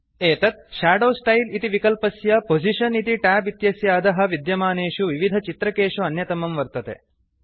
एतत् shadow style इति विकल्पस्य पोजिशन इति ट्याब् इत्यस्य अधः विद्यमानेषु विविधचित्रकेषु अन्यतमं वर्तते